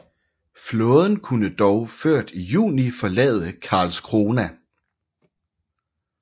Flåden kunne dog ført i juni forlade Karlskrona